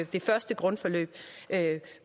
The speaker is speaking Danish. det første grundforløb